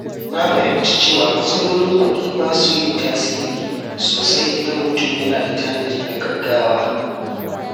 Na fahimci cewa matsalolin kuɗi ba su yin tasiri sosai idan mutum yana da tanadi na gaugawa.